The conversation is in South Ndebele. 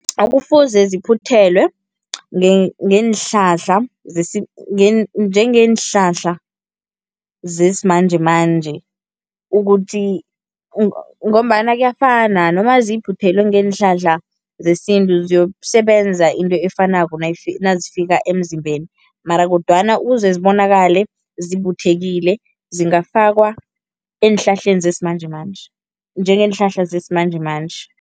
Kufuze ziphuthelwe ngeenhlahla njengeenhlahla zesimanjemanje ukuthi ngombana kuyafana, noma ziphuthelwe ngeenhlahla zesintu ziyokusebenza into efanako nazifika emzimbeni mara kodwana ukuze zibonakale zibuthekile zingafakwa eenhlahleni zesimanjemanje, njengeenhlahla zesimanjemanje.